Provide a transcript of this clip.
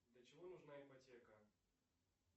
для чего нужна ипотека